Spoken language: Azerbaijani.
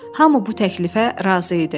Hamı bu təklifə razı idi.